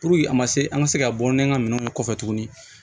a ma se an ka se ka bɔ ni an ka minɛnw kɔfɛ tuguni